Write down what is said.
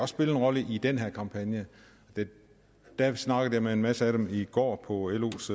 spille en rolle i den her kampagne jeg snakkede med en masse af dem i går på los